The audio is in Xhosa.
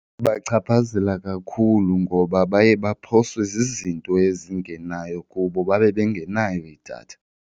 Ibachaphazela kakhulu ngoba baye baphoswe zizinto ezingenayo kubo babe bengenayo idatha.